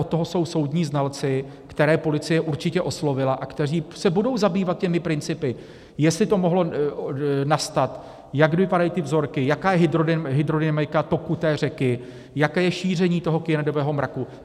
Od toho jsou soudní znalci, které policie určitě oslovila a kteří se budou zabývat těmi principy, jestli to mohlo nastat, jak vypadají ty vzorky, jaká je hydrodynamika toku té řeky, jaké je šíření toho kyanidového mraku.